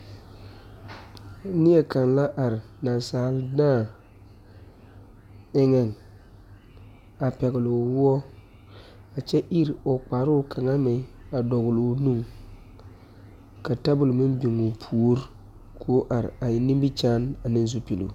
Neɛ kaŋa la are nasaal daa eŋe, a pɛgele o wɔɔ, a kyɛ iri o kparoo kaŋa meŋ a dɔle o nuŋ ka tabol meŋ biŋ o pori kɔɔ are a eŋ nimikyaane ane zupuli.